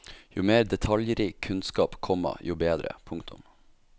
Jo mer detaljrik kunnskap, komma jo bedre. punktum